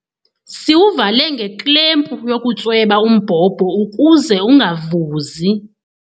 Siwuvale ngeklempu yokutsweba umbhobho ukuze ungavuzi.